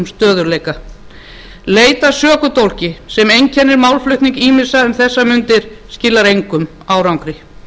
stöðugleika leit að sökudólgi sem einkennir málflutning ýmissa um vegar mundir skilar engum árangri